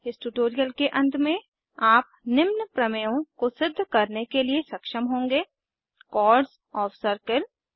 इस ट्यूटोरियल के अंत में आप निम्न प्रमेयों को सिद्ध करने के लिए सक्षम होंगे Chords ओएफ सर्किल